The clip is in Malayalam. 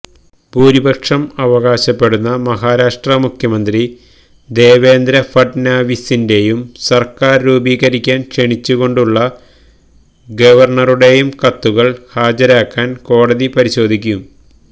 ഭൂരിപക്ഷം അവകാശപ്പെടുന്ന മഹാരാഷ്ട്ര മുഖ്യമന്ത്രി ദേവേന്ദ്ര ഫഡ്നാവിസിന്റെയും സർക്കാർ രൂപീകരിക്കാൻ ക്ഷണിച്ചുകൊണ്ടുള്ള ഗവർണറുടെയും കത്തുകൾ ഹാജരാക്കാൻ കോടതി പരിശോധിക്കും